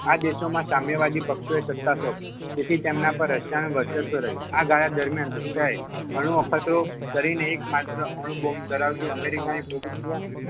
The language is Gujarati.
આ દેશોમાં સામ્યવાદી પક્ષો એ સત્તા સોંપી તેથી તેના પર રશિયાનું વર્ચસ્વ રહ્યું આ ગાળા દરમિયાન રશિયાએ અણુ અખતરો કરીને એકમાત્ર અણુબોમ્બ ધરાવતી અમેરિકાની